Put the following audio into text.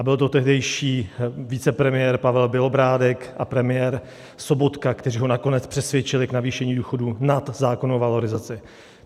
A byl to tehdejší vicepremiér Pavel Bělobrádek a premiér Sobotka, kteří ho nakonec přesvědčili k navýšení důchodů nad zákonnou valorizaci.